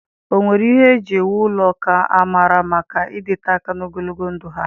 Ọ nwere ihe eji ewu ụlọ nke amara maka ịdịte aka na ogologo ndụ ha?